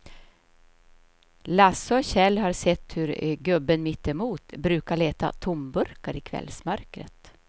Lasse och Kjell har sett hur gubben mittemot brukar leta tomburkar i kvällsmörkret.